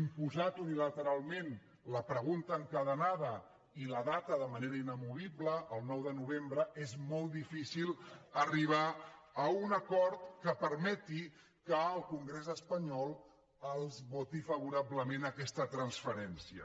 imposat unilateralment la pregunta encadenada i la data de manera inamovible el nou de novembre és molt difícil arribar a un acord que permeti que el congrés espanyol els voti favorablement aquesta transferència